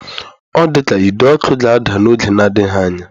Ọ dị ka ide ọkụ ga-ada n'oge na-adịghị anya.